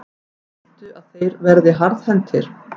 Viltu að þeir verði harðhentir?